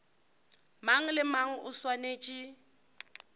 mang le mang o swanetše